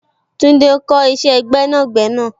Tunde ń kọ isẹ gbẹ́nàgbẹ́nà.